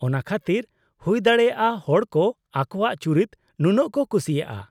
ᱚᱱᱟ ᱠᱷᱟᱹᱛᱤᱨ ᱦᱩᱭᱫᱟᱲᱮᱭᱟᱜᱼᱟ ᱦᱚᱲ ᱠᱚ ᱟᱠᱚᱣᱟᱜ ᱪᱩᱨᱤᱛ ᱱᱩᱱᱟᱹᱜ ᱠᱚ ᱠᱩᱥᱤᱭᱟᱜᱼᱟ ᱾